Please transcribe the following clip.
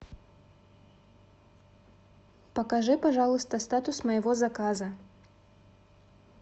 покажи пожалуйста статус моего заказа